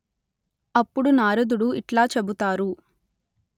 అప్పుడు నారదుడు ఇట్లా చెబుతారు